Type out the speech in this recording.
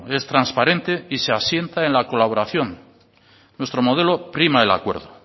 es transparente y se asienta en la colaboración nuestro modelo prima el acuerdo